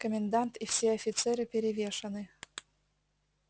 комендант и все офицеры перевешаны